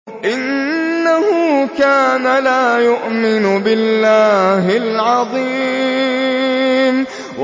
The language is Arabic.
إِنَّهُ كَانَ لَا يُؤْمِنُ بِاللَّهِ الْعَظِيمِ